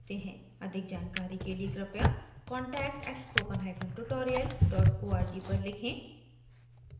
अधिक जानकारी के लिए कृपया conatct@spokentutorialorg पर लिखें